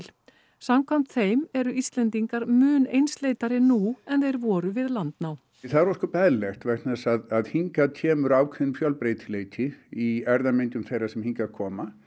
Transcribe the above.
samkvæmt þeim eru Íslendingar mun einsleitari nú en þeir voru við landnám það er ósköp eðlilegt vegna þess að hingað kemur ákveðinn fjölbreytileiki í þeirra sem hingað koma